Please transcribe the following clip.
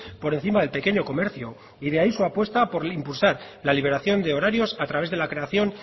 por encima del pequeño comercio y de ahí su apuesta por impulsar la liberación de horarios a través de la creación